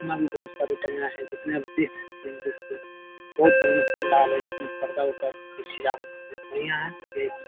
इसमें भी बहुत सारी हैं जिसमें आप देख सकते हैं। बहुत बढ़िया पंडाल है जिसमें पर्दा वरदा की सजावट बहुत बढ़िया है। देख सक --